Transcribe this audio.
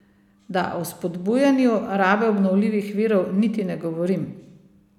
Da o spodbujanju rabe obnovljivih virov niti ne govorim.